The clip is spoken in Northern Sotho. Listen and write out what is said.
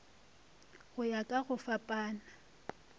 go ya ka go fapana